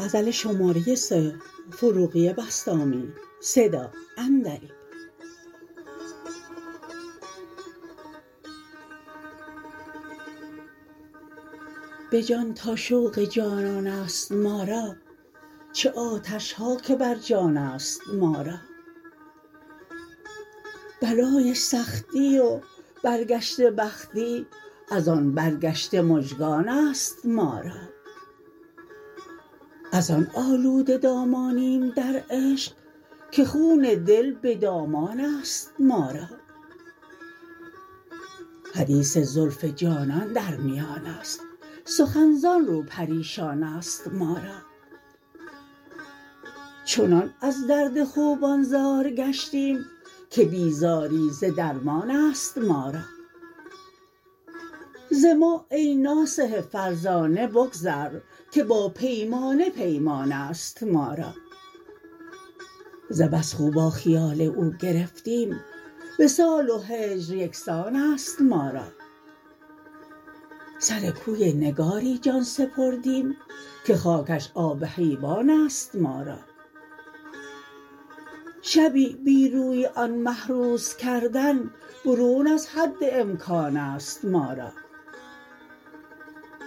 به جان تا شوق جانان است ما را چه آتش ها که بر جان است ما را بلای سختی و برگشته بختی از آن برگشته مژگان است ما را از آن آلوده دامانیم در عشق که خون دل به دامان است ما را حدیث زلف جانان در میان است سخن زان رو پریشان است ما را چنان از درد خوبان زار گشتیم که بیزاری ز درمان است ما را ز ما ای ناصح فرزانه بگذر که با پیمانه پیمان است ما را ز بس خو با خیال او گرفتیم وصال و هجر یکسان است ما را سر کوی نگاری جان سپردیم که خاکش آب حیوان است ما را شبی بی روی آن مه روز کردن برون از حد امکان است ما را